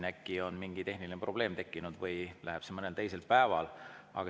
Äkki on mingi tehniline probleem tekkinud või see mõnel teisel päeval.